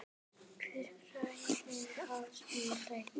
Hver græðir á svona leik?